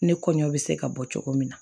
Ne kɔɲɔ bɛ se ka bɔ cogo min na